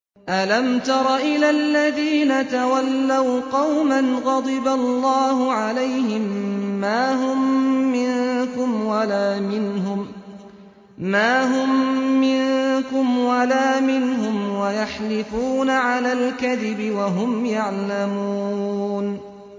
۞ أَلَمْ تَرَ إِلَى الَّذِينَ تَوَلَّوْا قَوْمًا غَضِبَ اللَّهُ عَلَيْهِم مَّا هُم مِّنكُمْ وَلَا مِنْهُمْ وَيَحْلِفُونَ عَلَى الْكَذِبِ وَهُمْ يَعْلَمُونَ